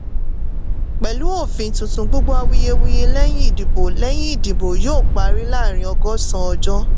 pẹ̀lú òfin tuntun gbogbo awuyewuye lẹ́yìn ìdìbò lẹ́yìn ìdìbò yóò parí láàrin ọgọ́sàn ọjọ́.